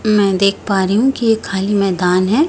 मैं देख पा रही हूं कि ये खाली मैदान है।